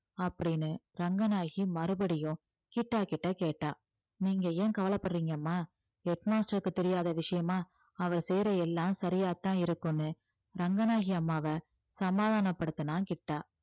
அப்படின்னு ரங்கநாயகி மறுபடியும் கிட்டா கிட்ட கேட்டா நீங்க ஏன் கவலைப்படறீங்கம்மா head master க்கு தெரியாத விஷயமா அவர் செய்யற எல்லாம் சரியாத்தான் இருக்கும்னு ரங்கநாயகி அம்மாவை சமாதானப்படுத்தினான் கிட்டா